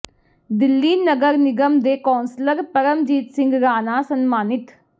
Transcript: ਦਿੱਲੀ ਨਗਰ ਨਿਗਮ ਦੇ ਕੌਂਸਲਰ ਪਰਮਜੀਤ ਸਿੰਘ ਰਾਣਾ ਸਨਮਾਨਿਤ